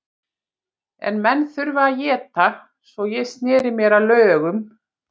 En menn þurfa að éta, svo ég sneri mér að lögum.